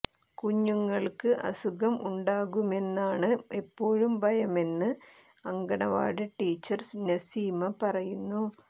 കുഞ്ഞുങ്ങൾക്ക് അസുഖം ഉണ്ടാകുമെന്നാണ് എപ്പോഴും ഭയമെന്ന് അങ്കണവാടി ടീച്ചർ നസീമ പറയുന്നു